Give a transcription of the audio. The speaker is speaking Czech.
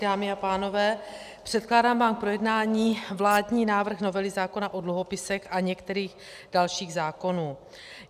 Dámy a pánové, předkládám vám k projednání vládní návrh novely zákona o dluhopisech a některých dalších zákonů.